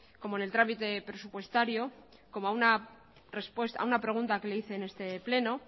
como en el trámite presupuestario como a una pregunta que le hice en este pleno